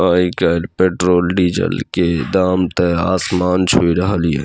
आय काएल पेट्रोल के डीजल के दाम आसमान छू रहल ये --